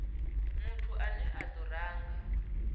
muthu ane a do ranga